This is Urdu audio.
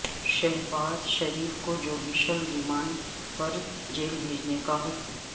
شہباز شریف کو جوڈیشل ریمانڈ پر جیل بھیجنے کا حکم